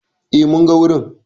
E, mun ga wurin.